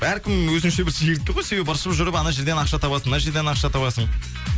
әркім өзінше бір шегіртке ғой себебі ыршып жүріп ана жерден ақша табасың мына жерден ақша табасың